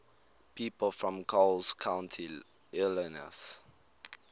people from coles county illinois